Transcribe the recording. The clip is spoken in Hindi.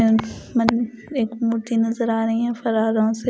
एक मूर्ति नजर आ रही है फराराम से--